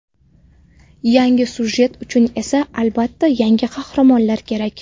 Yangi sujet uchun esa, albatta, yangi qahramonlar kerak.